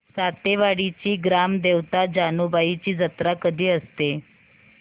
सातेवाडीची ग्राम देवता जानुबाईची जत्रा कधी असते